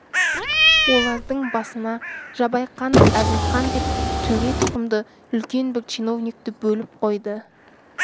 олардың басына жабайқанов әзімқан деп төре тұқымды үлкен бір чиновникті бөліп қойды